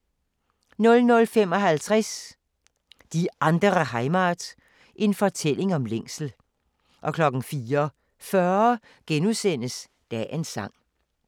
00:55: Die andere Heimat – en fortælling om længsel 04:40: Dagens sang *